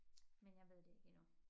Men jeg ved det ikke endnu